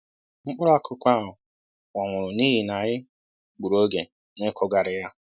Mkpụrụ akụkụ ahụ kpọnwụrụ n'ihi na anyị gbùrù oge na-ịkụghari ya